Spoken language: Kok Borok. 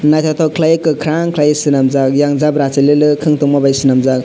naitotok kelaioe kakarang kelai selamjak ayang jabra sololok wng tongma bai swnamjak.